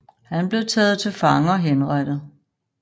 Han blev taget til fange og henrettet